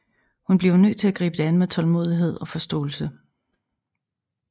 Hun bliver nødt til at gribe det an med tålmodighed og forståelse